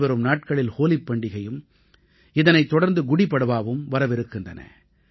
இனிவரும் நாட்களில் ஹோலிப் பண்டிகையும் இதனைத் தொடர்ந்து குடீபட்வாவும் வரவிருக்கின்றன